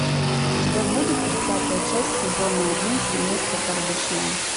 у тебя будет тридцатая часть сезона один семейство кардашьян